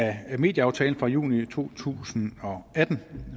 af medieaftalen fra juni to tusind og atten